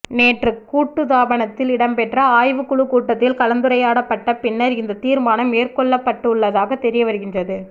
நேற்று கூட்டுத்தாபனத்தில் இடம்பெற்ற ஆய்வுக் குழு கூட்டத்தில் கலந்துரையாடப்பட்ட பின்னர் இந்த தீர்மானம் மேற்கொள்ளப்பட்டுள்ளதாக தெரியவருகின்றது